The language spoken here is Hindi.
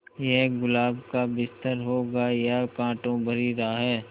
ये गुलाब का बिस्तर होगा या कांटों भरी राह